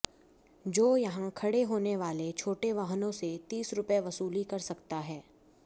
जो यहां खड़े होने वाले छोटे वाहनों से तीस रूपये वसूली कर सकता है